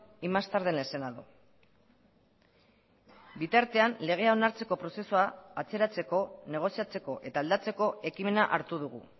y más tarde en el senado bitartean legea onartzeko prozesua atzeratzeko negoziatzeko eta aldatzeko ekimena hartu dugu